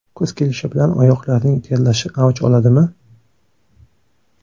Kuz kelishi bilan oyoqlarning terlashi avj oladimi?.